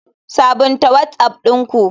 Sabunta whatsapp ɗin ku.